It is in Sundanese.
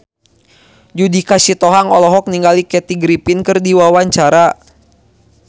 Judika Sitohang olohok ningali Kathy Griffin keur diwawancara